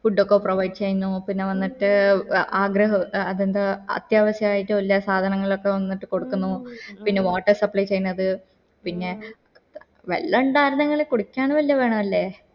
food ഒക്കെ provide ചെയ്യുന്നു പിന്നെ വന്നിട്ട് ആഹ് ആഗ്രഹ ആഹ് അതെന്താ അത്യാവിശയിട്ടുള്ള സാധനയങ്ങളൊക്കെ വന്നിട്ട് കൊടുക്കുന്നു പിന്നെ water supply ചെയ്യുന്നത് പിന്നെ വെള്ള ഇൻഡേർന്നെങ്കില് കുടിക്കാൻ വെള്ള വേണ്ടേ